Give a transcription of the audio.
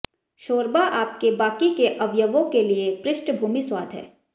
शोरबा आपके बाकी के अवयवों के लिए पृष्ठभूमि स्वाद है